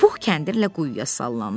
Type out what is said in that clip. Puh kəndirlə quyuya sallandı.